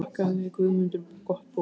Þakkaði Guðmundur gott boð.